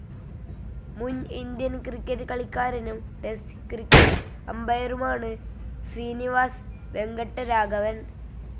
മുൻ Indian cricket കളിക്കാരനും test cricket അമ്പയറുമാണ് ശ്രീനിവാസ് വെങ്കട്ടരാഘവൻ.